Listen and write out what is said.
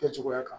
Kɛcogoya kan